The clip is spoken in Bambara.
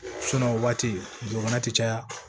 o waati fana ti caya